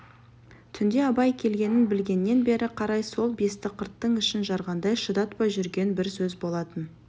түнде абай келгенін білгеннен бері қарай сол бестіқырттың ішін жарғандай шыдатпай жүрген бір сөз болатын